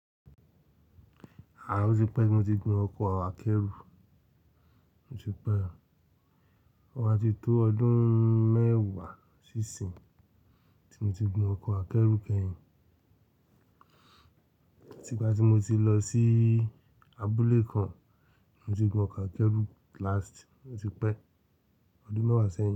O ti pẹ́, tí mo ti gún n ọkọ̀ àkẹ́rù. O ti pẹ́ o, ó ma ti tó ọdún mẹ́wàá sí ìsìn tí mo ti gun ọkọ̀ akẹ́rù kẹ́yìn. Ti ìgbà tí mo ti lọ sí abúlé kan, mo ti gun ọkọ̀ akẹ́rù last, mo ti pẹ́, ọdún mẹ́wàá sẹ́yìn.